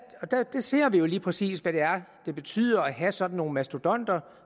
her ser vi jo lige præcis hvad det betyder at have sådan nogle mastodonter